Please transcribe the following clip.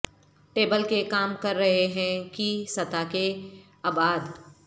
table کے کام کر رہے ہیں کی سطح کے ابعاد